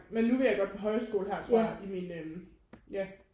Men nu vil jeg gå på hæjskole her tror jeg i mine ja